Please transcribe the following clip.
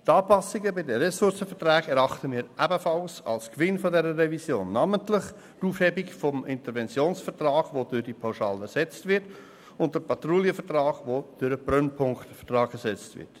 Die Anpassungen bei den Ressourcenverträgen erachten wir ebenfalls als Gewinn dieser Revision, namentlich die Aufhebung des Interventionsvertrags, der durch die Pauschale ersetzt wird, und den Patrouillenvertrag, der durch den Brennpunktvertrag ersetzt wird.